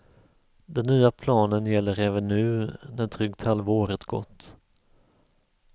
Den nya planen gäller även nu, när drygt halva året gått.